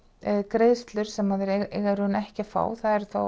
greiðslur sem að þeir eiga raun ekki að fá eru